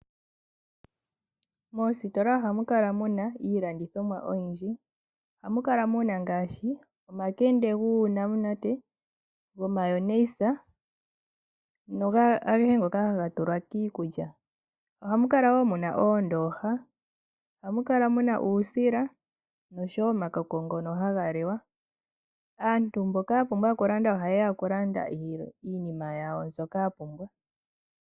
Moositola ohamu kala muna iilandithomwa oyindji, ohamukala muna ngaashii; omakende guunamunate, gomayonayisa agehe ngoka haga tulwa kiikutya. Ohamu kala wo muna oondooha. Ohamu kala muna uusila, oshowo omakoko ngoka hagaliwa. Aantu mboka yapumbwa okulanda ohayeya okulanda iinima yawo mbyoka yapumbwa.